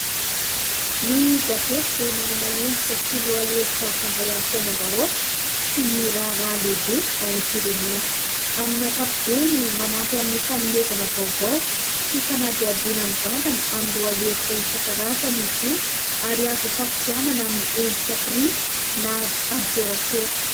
Ny gazety dia manana endrika sy lohahevitra mifandray amin'ny fiainam-bahoaka sy ny raharaha lehibe ao amin'ny firenena. Amin'ny hakapobeny manampy amin'ny fanomezana vaovao sy fanadiadiana mivantana amin'ny lohahevitra isan-karazana izy io ary azo isafidianana amin'ny endrika printy na an-tserasera.